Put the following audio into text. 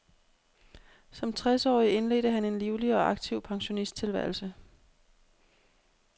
Som tres årig indledte han en livlig og aktiv pensionisttilværelse.